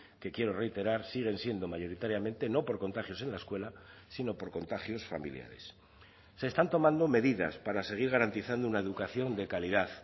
que quiero reiterar siguen siendo mayoritariamente no por contagios en la escuela sino por contagios familiares se están tomando medidas para seguir garantizando una educación de calidad